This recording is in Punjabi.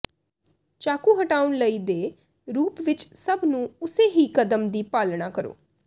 ਚਾਕੂ ਹਟਾਉਣ ਲਈ ਦੇ ਰੂਪ ਵਿੱਚ ਸਭ ਨੂੰ ਉਸੇ ਹੀ ਕਦਮ ਦੀ ਪਾਲਣਾ ਕਰੋ